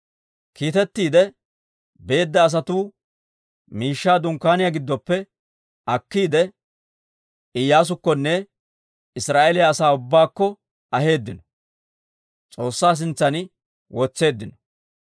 Kiitettiide beedda asatuu miishshaa dunkkaaniyaa giddoppe akkiide, Iyyaasukkonne Israa'eeliyaa asaa ubbaakko aheeddino; S'oossaa sintsan wotseeddino.